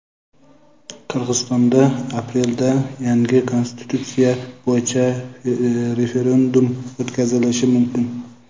Qirg‘izistonda aprelda yangi konstitutsiya bo‘yicha referendum o‘tkazilishi mumkin.